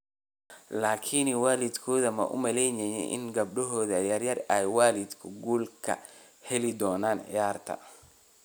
laakiin waligood ma u malaynayeen in gabadhooda yar ay waligeed guul ka heli doonto ciyaarta?